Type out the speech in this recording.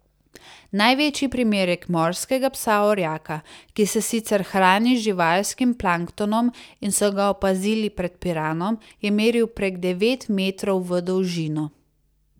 Največji primerek morskega psa orjaka, ki se sicer hrani z živalskim planktonom, in so ga opazili pred Piranom, je meril prek devet metrov v dolžino.